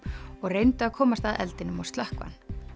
og reyndu að komast að eldinum og slökkva hann